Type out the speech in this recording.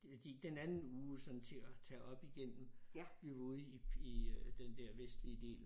Øh de den anden uge sådan til at tage op igennem. Vi var ude i i øh den der vestlige del